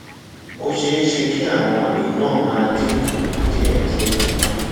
ó ṣeé ṣe kí àwọn àmì náà máa dín kù díẹdíẹ